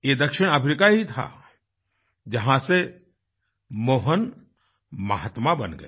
यह दक्षिण अफ्रीका ही था जहाँ से मोहनमहात्माबन गए